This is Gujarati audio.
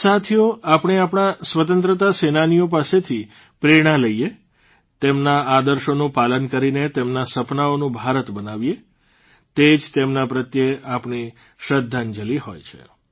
સાથીઓ આપણે આપણા સ્વતંત્રતા સેનાનીઓ પાસેથી પ્રેરણા લઇએ તેમના આદર્શોનું પાલન કરીને તેમના સપનાઓનું ભારત બનાવીએ તે જ તેમના પ્રત્યે આપણી શ્રદ્ધાંજલી હોય છે